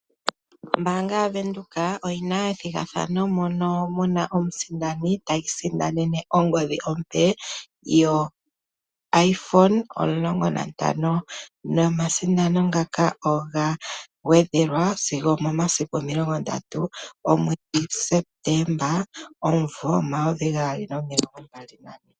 Ombaanga yavenduka oyina ethigathano mono muna omusindani ti isindanene ongodhi ompe yoIphone 15 nomasindano ngaka oga gwedhelwa sigo omomasiku omilongondatu omwedhi Septemba omumvo omayovi gaali nomilongombali nane.